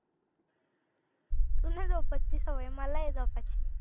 तुला नाही झोपायची सवय मला आहे झोपायची